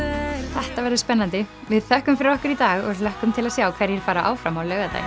þetta verður spennandi við þökkum fyrir okkur í dag og hlökkum til að sjá hverjir fara áfram á laugardaginn